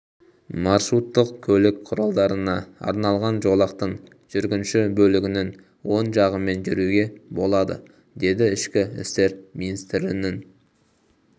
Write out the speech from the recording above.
маршруттық көлік құралдарына арналған жолақтың жүргінші бөлігінің оң жағымен жүруге болады деді ішкі істер министрінің